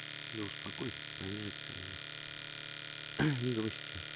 да успокойся ты помирятся они не грусти